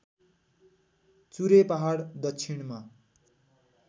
चुरे पहाड दक्षिणमा